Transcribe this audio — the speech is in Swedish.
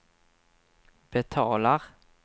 betalar